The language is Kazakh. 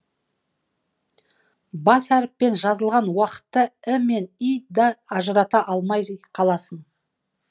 бас әріппен жазылған уақытта і мен и ді ажырата алмай қаласың